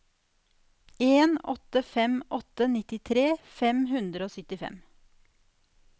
en åtte fem åtte nittitre fem hundre og syttifem